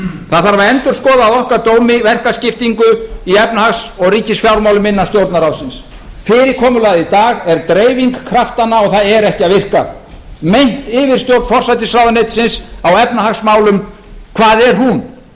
það þarf að endurskoða að okkar dómi verkaskiptingu í efnahags og ríkisfjármálum innan stjórnarráðsins fyrirkomulagið í dag er dreifing kraftanna og það er ekki að virka mein yfirstjórn forsætisráðuneytisins á efnahagsmálum hvað er hún